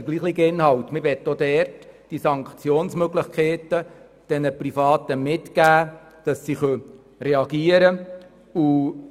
Wir möchten auch dort den Privaten Sanktionsmöglichkeiten mitgeben, damit sie reagieren können.